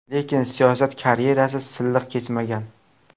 Lekin siyosiy karyerasi silliq kechmagan.